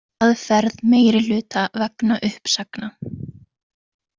Hraðferð meirihluta vegna uppsagna